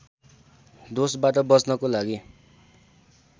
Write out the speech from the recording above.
दोषबाट बच्नको लागि